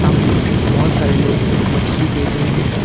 बहोत सारे लोग मछली बेच रहे हैं।